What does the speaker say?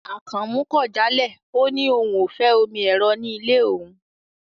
Akànmú kò jálẹ̀, ọ ni ọ̀un ó fẹ́ omi èró̀ ní ilẹ̀ ọ̀un.